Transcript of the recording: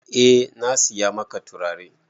Eh na saya maka turare.